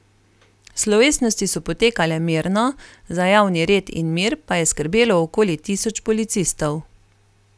Slovesnosti so potekale mirno, za javni red in mir pa je skrbelo okoli tisoč policistov.